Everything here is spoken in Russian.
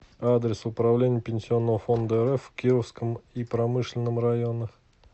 адрес управление пенсионного фонда рф в кировском и промышленном районах